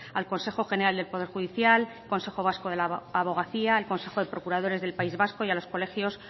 al consejo general del poder judicial consejo vasco de la abogacía el consejo de procuradores del país vasco y a los colegios